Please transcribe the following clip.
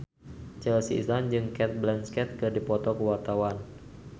Chelsea Islan jeung Cate Blanchett keur dipoto ku wartawan